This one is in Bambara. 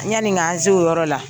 Yanni k'an se o yɔrɔ la.